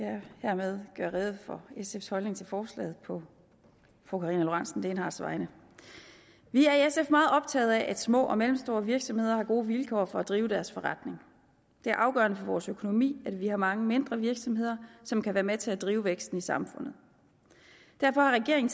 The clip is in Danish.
jeg hermed gøre rede for sfs holdning til forslaget på fru karina lorentzen dehnhardts vegne vi er i sf meget optaget af at små og mellemstore virksomheder har gode vilkår for at drive deres forretning det er afgørende for vores økonomi at vi har mange mindre virksomheder som kan være med til at drive væksten i samfundet derfor har regeringen